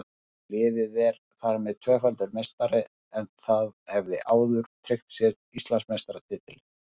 Liðið er þar með tvöfaldur meistari en það hafði áður tryggt sér Íslandsmeistaratitilinn.